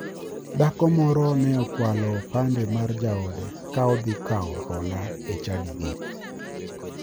Dhako moro ne okwalo opande mar jaode ka odhi kawo hola e chadigi.